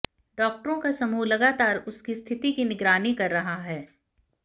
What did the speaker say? डॉक्टरों का समूह लगातार उसकी स्थिति की निगरानी कर रहा है